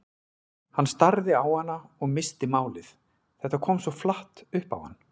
Hann starði á hana og missti málið, þetta kom svo flatt upp á hann.